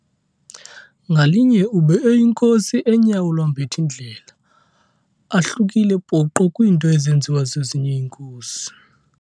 Ngalinye ube eyinkosi enyawo lwambath'indlela, ahlukile poqo kwiinto ezenziwa zezinye iinkosi.